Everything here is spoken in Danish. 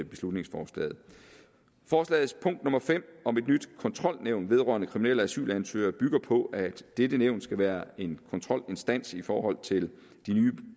beslutningsforslaget forslagets punkt fem om et nyt kontrolnævn vedrørende kriminelle asylansøgere bygger på at dette nævn skal være en kontrolinstans i forhold til de nye